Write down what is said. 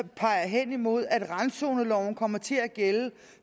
peger hen imod at randzoneloven kommer til at gælde